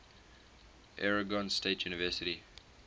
oregon state university